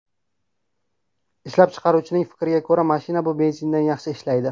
Ishlab chiqaruvchining fikriga ko‘ra, mashina bu benzindan yaxshi ishlaydi.